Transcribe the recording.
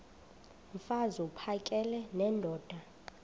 mfaz uphakele nendoda